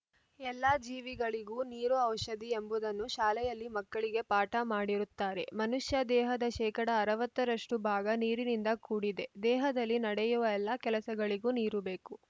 ಎಲ್ಲ ಜೀವಿಗಳಿಗೂ ನೀರು ಔಷಧಿ ಎಂಬುದನ್ನು ಶಾಲೆಯಲ್ಲಿ ಮಕ್ಕಳಿಗೆ ಪಾಠ ಮಾಡಿರುತ್ತಾರೆ ಮನುಷ್ಯ ದೇಹದ ಶೇಕಡಾ ಅರವತ್ತರಷ್ಟುಭಾಗ ನೀರಿನಿಂದ ಕೂಡಿದೆ ದೇಹದಲ್ಲಿ ನಡೆಯುವ ಎಲ್ಲ ಕೆಲಸಗಳಿಗೂ ನೀರು ಬೇಕು